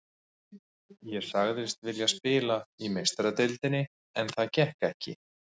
Ég sagðist vilja spila í Meistaradeildinni en það gekk ekki.